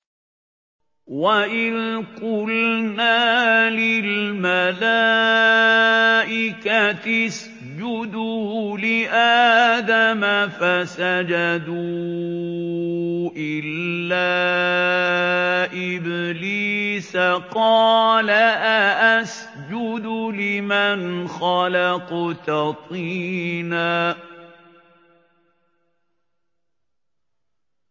وَإِذْ قُلْنَا لِلْمَلَائِكَةِ اسْجُدُوا لِآدَمَ فَسَجَدُوا إِلَّا إِبْلِيسَ قَالَ أَأَسْجُدُ لِمَنْ خَلَقْتَ طِينًا